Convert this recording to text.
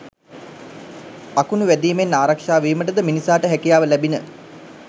අකුණු වැදීමෙන් ආරක්ෂා වීමට ද මිනිසාට හැකියාව ලැබිණ.